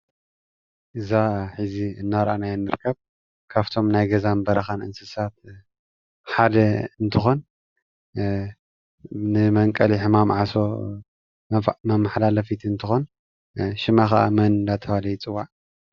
እዛ ሕዚ እናራእናያ ትርከብ ናይ ገዛን በረኻን እንስሳት ሓደ እንትኾን ንመንቀሊ ሕማም ዓሶ መማሓላለፊት እንትኾን ሽማ ኻዓ መን እንዳተባሃለ ይፅዋዕ?